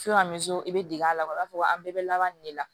i bɛ dege a la o b'a fɔ an bɛɛ bɛ laban nin de la